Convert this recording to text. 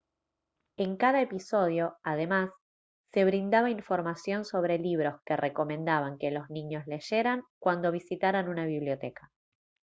en cada episodio además se brindaba información sobre libros que recomendaban que los niños leyeran cuando visitaran una biblioteca